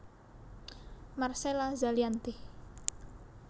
Marcella Zalianty